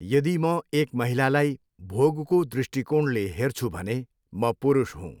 यदि म एक महिलालाई भोगको दृष्टिकोणले हेर्छु भने म पुरूष हुँ।